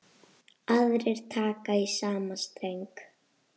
Aðrir taka í sama streng.